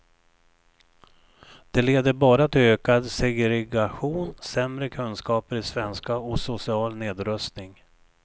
Det leder bara till ökad segregation, sämre kunskaper i svenska och social nedrustning.